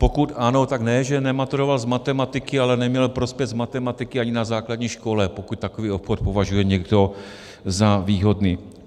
Pokud ano, tak ne že nematuroval z matematiky, ale neměl prospěch z matematiky ani na základní škole, pokud takový obchod považuje někdo za výhodný.